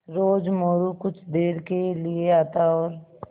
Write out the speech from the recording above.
रोज़ मोरू कुछ देर के लिये आता और